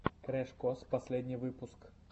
крэш кос последний выпуск